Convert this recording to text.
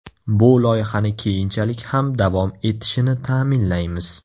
Bu loyihani keyinchalik ham davom etishini ta’minlaymiz.